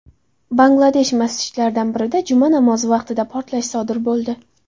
Bangladesh masjidlaridan birida juma namozi vaqtida portlash sodir bo‘ldi.